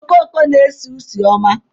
Okoko na-esi usi ọma.